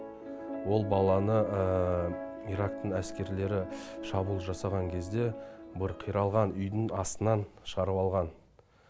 ол баланы ирактың әскерлері шабуыл жасаған кезде бір қиралған үйдің астынан шығарып алған